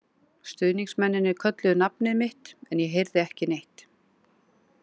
Stuðningsmennirnir kölluðu nafnið mitt, en ég heyrði ekki neitt.